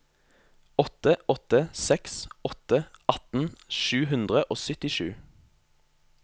åtte åtte seks åtte atten sju hundre og syttisju